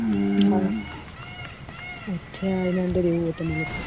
હમ અચા એના ઉનદર એવું હોય તમાર લોકો ને